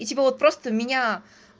и типа вот просто меня